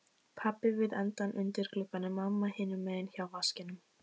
Pabbi við endann undir glugganum, mamma hinum megin hjá vaskinum.